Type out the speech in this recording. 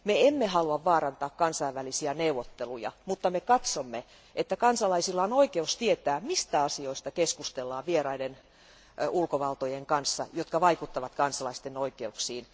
Me emme halua vaarantaa kansainvälisiä neuvotteluja, mutta me katsomme, että kansalaisilla on oikeus tietää, mistä sellaisista asioista keskustellaan vieraiden ulkovaltojen kanssa, jotka vaikuttavat kansalaisten oikeuksiin.